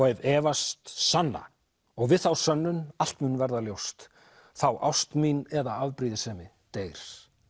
ef efast sanna og við þá sönnun allt mun verða ljóst þá ást mín eða afbrýðisemi deyr